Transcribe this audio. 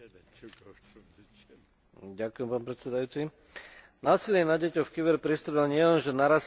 Násilie na deťoch v kyberpriestore nielenže narastá, ale aj naberá na intenzite a krutosti a začína nás presahovať.